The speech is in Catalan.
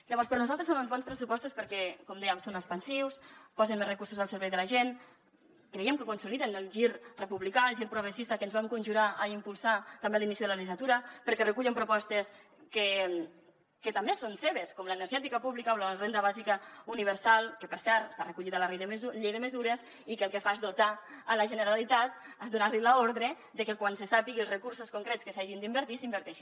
llavors per nosaltres són uns bons pressupostos perquè com dèiem són expansius posen més recursos al servei de la gent creiem que consoliden el gir republicà el gir progressista que ens vam conjurar a impulsar també a l’inici de la legislatura perquè recullen propostes que també són seves com l’energètica pública o la renda bàsica universal que per cert està recollida a la llei de mesures i que el que fa és dotar la generalitat donar li l’ordre de que quan se sàpiguen els recursos concrets que s’hi hagin d’invertir s’hi inverteixin